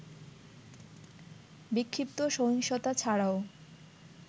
বিক্ষিপ্ত সহিংসতা ছাড়াও